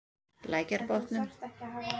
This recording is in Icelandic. Lækjarbotnum